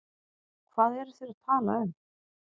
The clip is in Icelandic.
Hvað eru þeir að tala um?